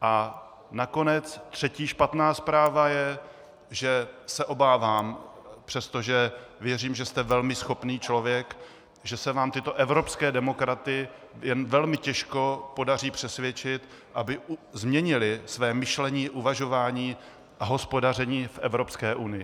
A nakonec třetí špatná zpráva je, že se obávám, přestože věřím, že jste velmi schopný člověk, že se vám tyto evropské demokraty jen velmi těžko podaří přesvědčit, aby změnili své myšlení, uvažování a hospodaření v Evropské unii.